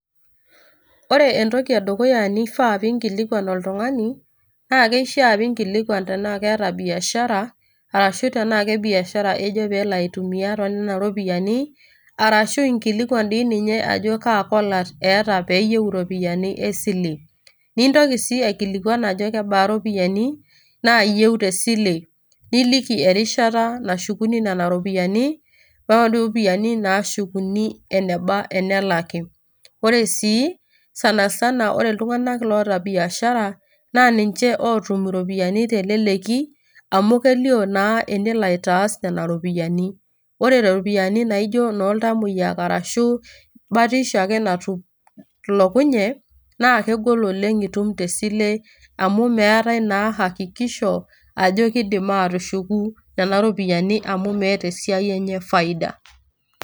Ore entoki edukuya nifaa pinkilikwan oltung'ani, na keishaa pinkilikwan tenaa keeta biashara, ashu tenaa kebiashara ejo pelo aitumia tonena ropiyaiani, arashu inkilikwan di ninye ajo kaa kolat eeta peyieu iropiyiani esile. Nintoki si aikilikwan ajo kebaa iropiyiani, naayieu tesile. Niliki erishata nashukuni nena ropiyaiani, onena ropiyaiani nashukuni eneba tenelaki. Ore sii, sanasana ore iltung'anak loota biashara, na ninche otum iropiyiani teleleki, amu kelio naa enelo aitaas nena ropiyaiani. Ore iropiyiani naijo inoltamoyia arashu batisho ake natolokunye, na kegol oleng' itum tesile amu meetae naa hakikisho ,ajo kiidim atushuku nena ropiyaiani amu meeta esiai enye faida.